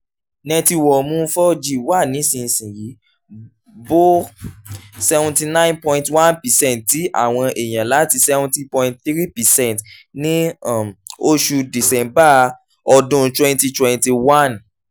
nẹtiwọọ̀mù four g wa nísinsìnyí bo seventy nine point one percent ti àwọn èèyàn láti seventy point three percent ní um oṣù december ọdún twenty twenty one.